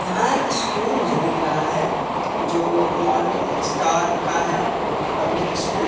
यहां एक स्कूल मुझे दिख रहा है जो मॉर्निंग स्टार का है पब्लिक स्कूल ।